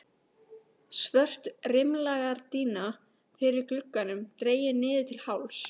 Svört rimlagardína fyrir glugganum dregin niður til hálfs.